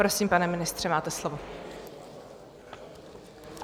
Prosím, pane ministře, máte slovo.